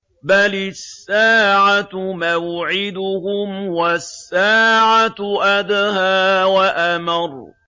بَلِ السَّاعَةُ مَوْعِدُهُمْ وَالسَّاعَةُ أَدْهَىٰ وَأَمَرُّ